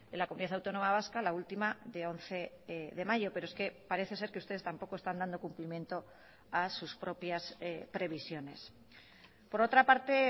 la comunidad autónoma vasca la ultima de once de mayo pero es que parece ser que ustedes tampoco están dando cumplimiento a sus propias previsiones por otra parte